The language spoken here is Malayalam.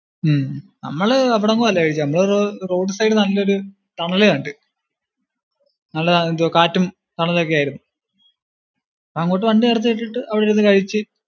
ഉം നമ്മള് അവിടെങ്ങുവല്ല കഴിച്ചേ, നമ്മള് road side നല്ലൊരു തണലു കണ്ടു. നല്ല എന്തുവാ കാറ്റും തണലും ഒക്കെ ആയിരുന്നു. അങ്ങോട്ട് വണ്ടി നിർത്തിയിട്ടിട്ട് അവിടെ ഇരുന്നു കഴിച്ചു.